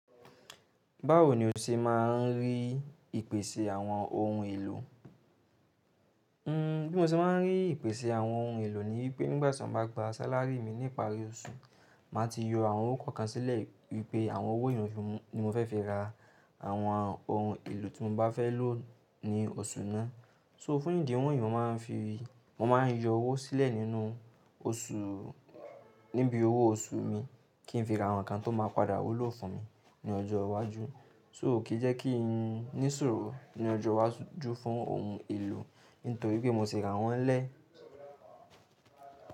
Báwo ni o ṣe máa ń rí ìpèsè àwọn ohun èlò? Hmm bí mo ṣe máa ń rí ìpèsè àwọn ohun èlò ni wípé nígbàtí mọ̀ bá gba sálárì mi ni ìparí oṣù, màá ti yọ àwọn owó kan sílẹ̀ wípé àwọn owó ìrànṣẹ́ ni mó fẹ́ fi ra àwọn ohun èlò tí mo bá fẹ́ lò ní oṣù náà. So fún ìdí wọ̀nyí mó máa ń fi, mó máa ń yọ owó sílẹ̀ nínú oṣù, níbi owó oṣù mi kí n fi ra àwọn nǹkan tó máa padà wúlò fún mi ní ọjọ́ iwájú. So kìí jẹ́ kí n sùúrù dí ọjọ́ iwájú fún ohun èlò nítorí pé mo ti ra wọ́n lẹ́ẹ̀.